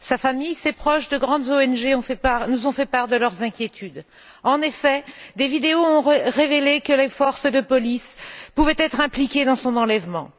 Sa famille, ses proches, de grandes ONG nous ont fait part de leurs inquiétudes. En effet, des vidéos ont révélé que les forces de police pouvaient être impliquées dans son enlèvement.